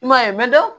I m'a ye mɛ